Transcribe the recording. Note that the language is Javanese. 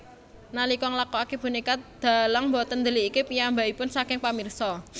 Nalika nglakokake bonéka dalang boten ndelikké piyambakipun saking pamirsa